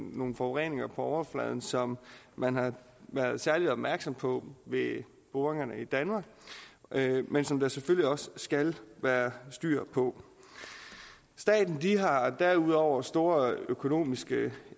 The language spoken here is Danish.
nogle forureninger på overfladen som man har været særlig opmærksom på ved boringerne i danmark men som der selvfølgelig også skal være styr på staten har derudover store økonomiske